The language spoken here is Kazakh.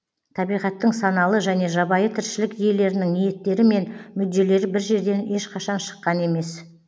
табиғаттың саналы және жабайы тіршілік иелерінің ниеттері мен мүдделері бір жерден ешқашан шыққан емес